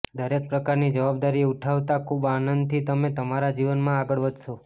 દરેક પ્રકારની જવાદારી ઉઠાવતા ખુબ આનંદથી તમે તમારા જીવનમાં આગળ વધશો